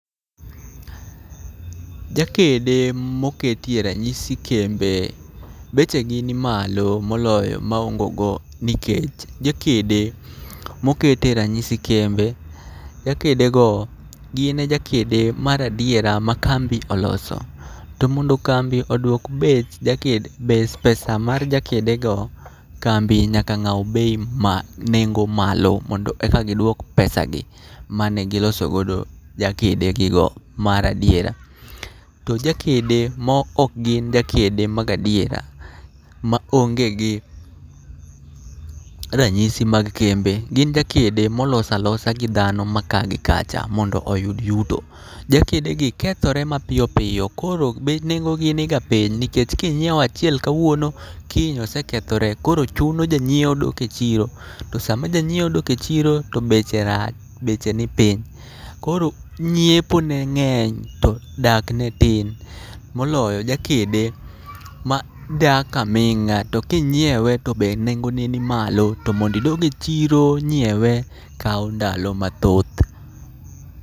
Jakede moketie ranyisi kembe bechegi ni malo moloyo ma ongo go, nikech jakede mokete ranyisi kembe, jakedego gin e jakede maradiera ma kambi oloso. To mondo kambi odwok bech jaked bes pesa mar jakedego kambi nyaka ng'aw bei ma nengo malo. Mondo eka giduok pesa gi mane gilosogodo jakedegigo maradiera. To jakede mo ok gin jakede mag adiera, ma onge gi ranyisi mag kembe gin jakede molosa losa gi dhano ma ka gi kacha mondo yud yuto. Jakedegi kethore mapiyo piyo koro be nengogi niga piny nikech kinyiewachiel kawuono, kiny osekethore. Koro chuno janyiewo dok e chiro, to sama janyiewo dok e chiro to beche rach, beche ni piny. Koro nyiepo ne ng'eny to dakne tin. Moloyo jakede ma dak aming'a to kinyiewe to be nengone ni malo. To mondidog e chiro nyiewe kawo ndalo mathoth.